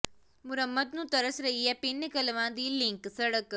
ਮੁਰੰਮਤ ਨੂੰ ਤਰਸ ਰਹੀ ਹੈ ਪਿੰਡ ਕਲਵਾਂ ਦੀ ਲਿੰਕ ਸਡ਼ਕ